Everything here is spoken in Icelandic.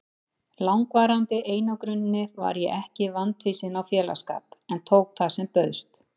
langvarandi einangruninni var ég ekki vandfýsin á félagsskap en tók það sem bauðst.